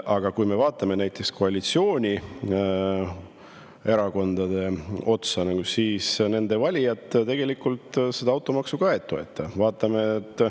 Aga kui me vaatame koalitsioonierakondade otsa, siis nende valijad tegelikult automaksu ka ei toeta.